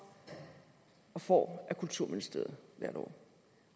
og får af kulturministeriet hvert år